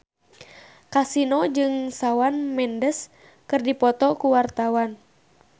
Kasino jeung Shawn Mendes keur dipoto ku wartawan